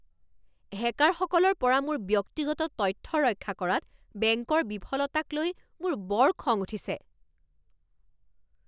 হেকাৰসকলৰ পৰা মোৰ ব্যক্তিগত তথ্য ৰক্ষা কৰাত বেংকৰ বিফলতাকলৈ মোৰ বৰ খং উঠিছে।